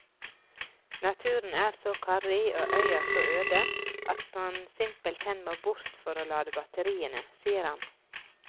Naturen er så karrig og øya så øde at man simpelthen må bort for å lade batteriene, sier han.